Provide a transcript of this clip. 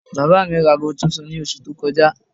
Bàbá mi ra aago tuntun ní oṣù tó kọjá